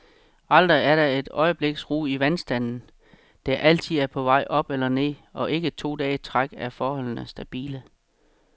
Aldrig er der et øjebliks ro i vandstanden, der altid er på vej op eller ned, og ikke to dage i træk er forholdene stabile.